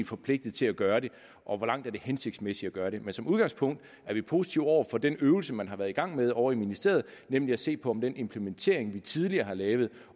forpligtet til at gøre det og hvor langt det hensigtsmæssigt at gøre det men som udgangspunkt er vi positive over for den øvelse man har været i gang med ovre i ministeriet nemlig at se på om den implementering vi tidligere har lavet